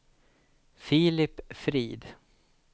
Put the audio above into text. Filip Frid